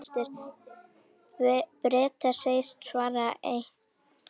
Bretar segjast svara, en hverju?